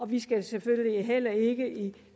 vi skal selvfølgelig ikke i